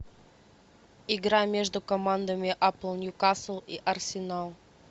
игра между командами апл ньюкасл и арсенал